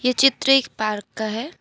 ये चित्र एक पार्क का है।